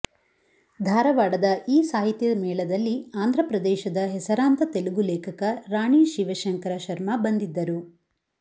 ಧಾರವಾಡದ ಈ ಸಾಹಿತ್ಯ ಮೇಳದಲ್ಲಿ ಆಂಧ್ರಪ್ರದೇಶದ ಹೆಸರಾಂತ ತೆಲುಗು ಲೇಖಕ ರಾಣಿ ಶಿವಶಂಕರ ಶರ್ಮ ಬಂದಿದ್ದರು